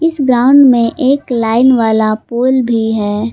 इस ग्राउंड में एक लाईन वाला पोल भी है।